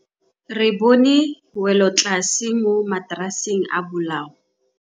Re bone wêlôtlasê mo mataraseng a bolaô.